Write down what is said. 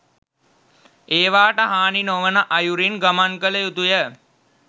ඒවාට හානි නොවන අයුරින් ගමන් කළ යුතුය.